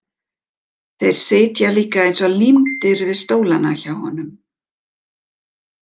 Þeir sitja líka eins og límdir við stólana hjá honum!